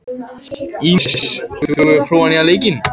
Ínes, hefur þú prófað nýja leikinn?